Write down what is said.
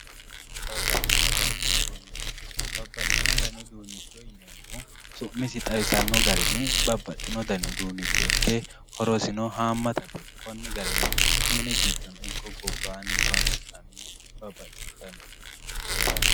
Babbaxxino dani uduuncho, babbaxxino dani uduuncho yineemmohu su'misi xawisano garinni babbaxxino gari uduuncho ikke horosino hamattate koni garini mini giddono ikko gobbani horonsi'nannihu babbaxxino dani uduunchi heerano.